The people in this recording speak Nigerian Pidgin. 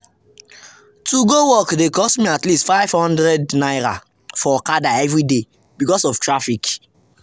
to go work dey cost me at least ₦500 for okada every day because of traffic.